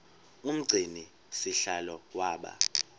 umgcini sihlalo waba